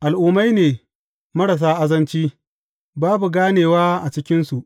Al’ummai ne marasa azanci, babu ganewa a cikinsu.